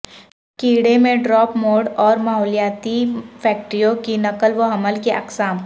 کیڑے میں drop mode اور ماحولیاتی فیکٹروں کی نقل و حمل کی اقسام